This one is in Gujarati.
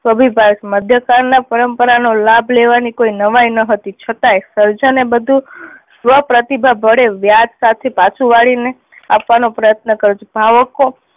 થોભી પાડે છે. મધ્ય કાળ ના પરંપરા નો લાભ લેવાની કોઈ નવાઈ ના હતી છતાંય સર્જને બધુ સ્વઃ પ્રતિભા વડે વ્યાજ સાથે પાછું વાળી ને આપવાનો પ્રયત્ન કર્યો છે.